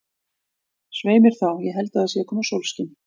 Svei mér þá, ég held að það sé að koma sólskin.